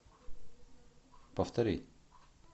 повтори